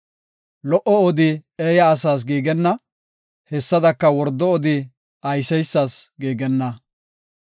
Lo77o odi eeya asas giigenna; hessadaka wordo odi ayseysas giigenna.